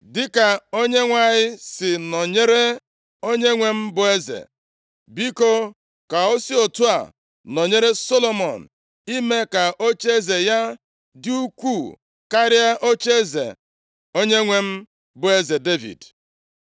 Dịka Onyenwe anyị si nọnyere onyenwe m bụ eze, biko, ka o si otu a nọnyere Solomọn ime ka ocheeze ya dị ukwuu karịa ocheeze onyenwe m bụ eze Devid.”